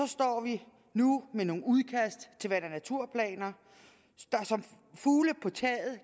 står vi nu med nogle udkast til vand og naturplaner der som fugle på taget